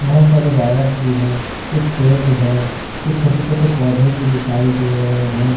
बहुत सारे वायर्स भी हैं कुछ पेड़ है कुछ छोटे छोटे पौधे भी दिखाई दे रहे हैं।